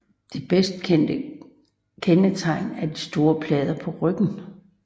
Det bedst kendte kendetegn er de store plader på ryggen